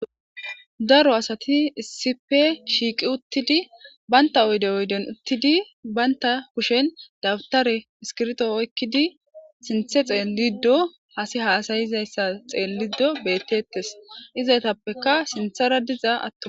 daro asati issipe shiiqi uttidi baynta oyde oyden uttidi baynta kushen dawutare iskirto oykkidi sinthe xeellido hasi haasayizayssa xeellido beettettes izaytappeka sinthara dizaa atto